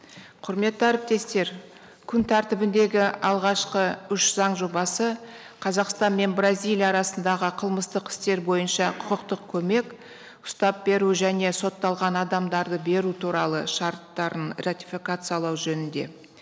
құрметті әріптестер күн тәртібіндегі алғашқы үш заң жобасы қазақстан мен бразилия арасындағы қылмыстық істер бойынша құқықтық көмек штаб беру және сотталған адамдарды беру туралы шарттарын ратификациялау жөнінде